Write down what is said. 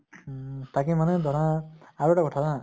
উম । তাকে মানে ধৰা আৰু এটা কথা হা ।